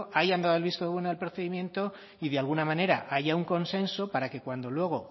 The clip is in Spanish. hayan dado el visto bueno al procedimiento y de alguna manera haya un consenso para que cuando luego